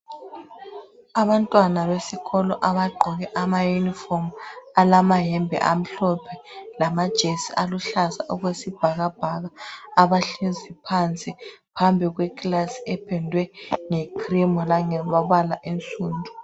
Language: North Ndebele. Abantwana besikolo abagqoke amayunifomu alamayembe amhlophe lamajesi aluhlaza okwesibhakabhaka abahlezi phansi phambi kwekilasi ependwe ngecream langamabala ansundu.